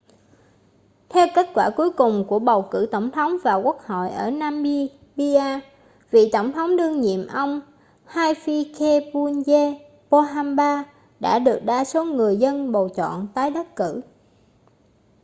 theo kết quả cuối cùng của cuộc bầu cử tổng thống và quốc hội ở namibia vị tổng thống đương nhiệm ông hifikepunye pohamba đã được đa số người dân bầu chọn tái đắc cử